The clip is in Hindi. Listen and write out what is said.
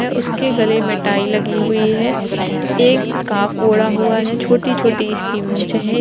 उसके गले में टाई लगी हुई है | एक स्कार्फ ओढा हुआ है छोटी छोटी उसकी मुछे हैं।